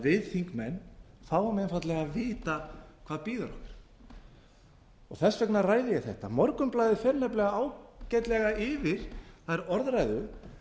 við þingmenn fáum einfaldlega að vitað hvað bíður okkar þess vegna ræði ég þetta morgunblaðið fer nefnilega ágætlega yfir þær orðræður